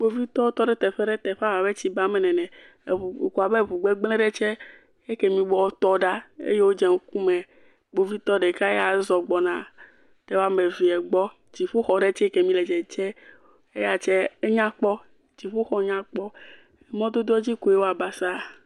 kpovitɔwo tɔɖe teƒeɖe teƒa wɔbɛ tsi ba me nene eʋu kuku abe ʋu gbɛgblɛ̃ ɖɛ tsɛ ɛkɛmi gbɔ wo tɔ ɖa eye wodze ŋkume kpovitɔ ɖeka ya zɔ gbɔna ɖe wɔmɛvia gbɔ exɔɖe dziƒoxɔ tsɛ kɛmi lɛ dzɛdzɛm enyakpɔ dziƒoxɔ nyakpɔ mɔdodoɔ dzi wɔ basaa